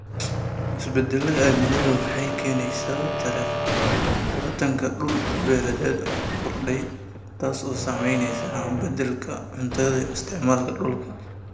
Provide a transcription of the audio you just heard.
Isbeddelka cimiladu waxay keenaysaa tartanka dhul-beereed oo korodhay, taasoo saamaynaysa haqab-beelka cuntada iyo isticmaalka dhulka.